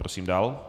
Prosím dále.